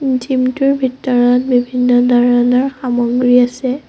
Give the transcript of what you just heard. Gym টোৰ ভিতৰত বিভিন্ন ধৰণৰ সামগ্ৰী আছে।